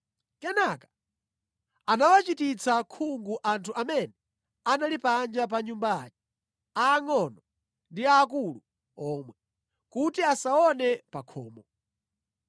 Kenaka anawachititsa khungu anthu amene anali panja pa nyumba aja, aangʼono ndi aakulu omwe, kuti asaone pa khomo.